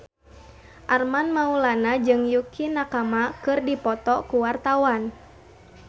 Armand Maulana jeung Yukie Nakama keur dipoto ku wartawan